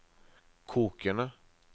kokende